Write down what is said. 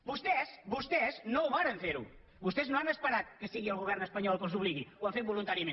vostès no ho varen fer vostès no han esperat que sigui el govern espanyol el que els obligui ho han fet voluntàriament